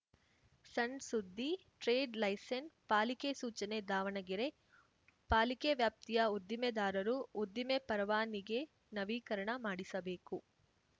ಸಣ್‌ ಸುದ್ದಿ trade license ಪಾಲಿಕೆ ಸೂಚನೆ ದಾವಣಗೆರೆ ಪಾಲಿಕೆ ವ್ಯಾಪ್ತಿಯ ಉದ್ದಿಮೆದಾರರು ಉದ್ದಿಮೆ ಪರವಾನಿಗೆ ನವೀಕರಣ ಮಾಡಿಸಬೇಕು